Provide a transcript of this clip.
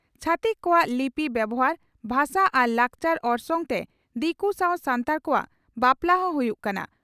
ᱪᱷᱟᱹᱛᱤᱠ ᱠᱚᱣᱟᱜ ᱞᱤᱯᱤ ᱵᱮᱵᱷᱟᱨ, ᱵᱷᱟᱥᱟ ᱟᱨ ᱞᱟᱠᱪᱟᱨ ᱚᱨᱥᱚᱝᱛᱮ ᱫᱤᱠᱩ ᱥᱟᱣ ᱥᱟᱱᱛᱟᱲ ᱠᱚᱣᱟᱜ ᱵᱟᱯᱞᱟᱜ ᱦᱚᱸ ᱦᱩᱭᱩᱜ ᱠᱟᱱᱟ ᱾